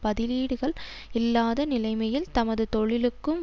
பதிலீடுகள் இல்லாத நிலைமையில் தமது தொழிலுக்கும்